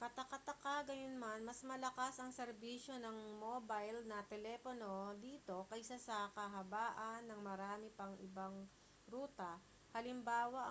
kataka-taka gayunman mas malakas ang serbisyo ng mobile na telepono dito kaysa sa kahabaan ng marami pang ibang ruta hal